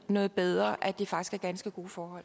noget bedre at det faktisk er ganske gode forhold